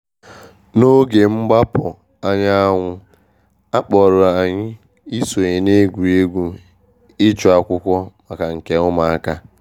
N’oge mgbapụ anyanwụ, a kpọrọ anyị isonye na egwuregwu ịchụ akwụkwọ maka nke ụmụaka.